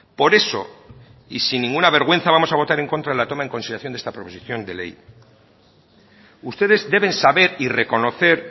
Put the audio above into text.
por eso y sin ninguna vergüenza vamos a votar en contra de la toma en consideración de esta proposición de ley ustedes deben saber y reconocer